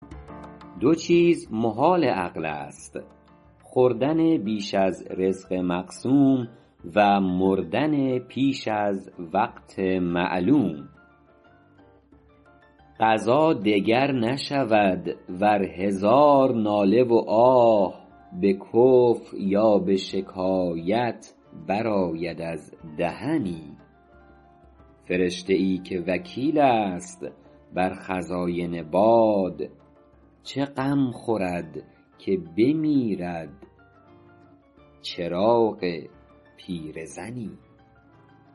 دو چیز محال عقل است خوردن بیش از رزق مقسوم و مردن پیش از وقت معلوم قضا دگر نشود ور هزار ناله و آه به کفر یا به شکایت برآید از دهنی فرشته ای که وکیل است بر خزاین باد چه غم خورد که بمیرد چراغ پیرزنی